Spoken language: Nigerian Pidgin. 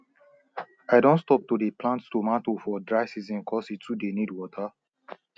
i don stop to dey plant tomatoe for dry season cos e too dey need water